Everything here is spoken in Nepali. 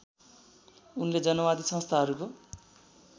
उनले जनवादी संस्थाहरूको